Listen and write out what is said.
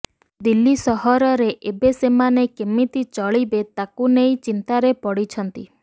ଦିଲ୍ଲୀ ସହରରେ ଏବେ ସେମାନେ କେମିତି ଚଳିବେ ତାକୁ ନେଇ ଚିନ୍ତାରେ ପଡ଼ିଛନ୍ତି